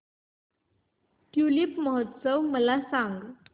tulip महोत्सव मला सांग